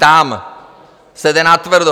Tam se jde natvrdo.